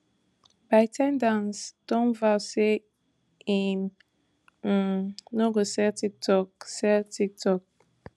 bytedance don vow say im um no go sell tiktok sell tiktok